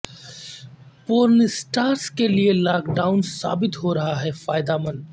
پورن stars کیلئے lockdown ثابت ہورہا فائدہ مند